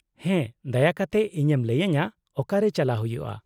-ᱦᱮᱸ, ᱫᱟᱭᱟ ᱠᱟᱛᱮᱫ ᱤᱧᱮᱢ ᱞᱟᱹᱭᱟᱹᱧᱟᱹ ᱚᱠᱟᱨᱮ ᱪᱟᱞᱟᱜ ᱦᱩᱭᱩᱜᱼᱟ ?